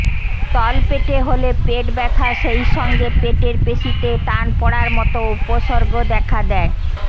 তলপেটে হলে পেট ব্যাথা সেই সঙ্গে পেটের পেশীতে টান পড়ার মতো উপসর্গ দেখা দেয়